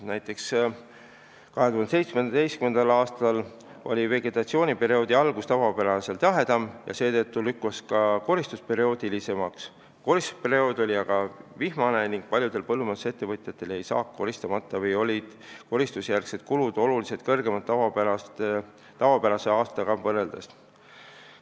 Näiteks oli 2017. aastal vegetatsiooniperioodi algus tavapärasest jahedam ja seetõttu lükkus koristus hilisemaks, koristusperiood oli aga vihmane ning paljudel põllumajandusettevõtjatel jäi saak koristamata või olid koristusjärgsed kulud tavapärase aastaga võrreldes oluliselt suuremad.